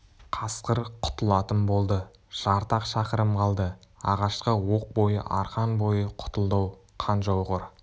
қасқыр құтылатын болды жарты-ақ шақырым қалды ағашқа оқ бойы арқан бойы құтылды-ау қан жауғыр